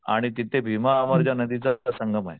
आणि तिथे भीमातिचा संगमे.